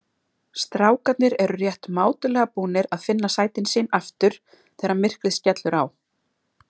Strákarnir eru rétt mátulega búnir að finna sætin sín aftur þegar myrkrið skellur á.